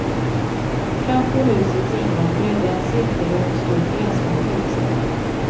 Framför husets ingång bredde en cirkelrund stor gräsmatta ut sig.